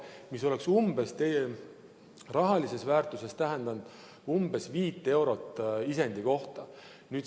See oleks rahalises väärtuses tähendanud umbes viit eurot isendi kohta.